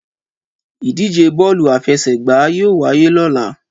Ìdíje bọ́ọ̀lù àfẹsẹ̀gbá yóò wáyé lóla